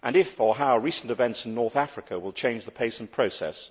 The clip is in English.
and if or how recent events in North Africa will change the pace and process.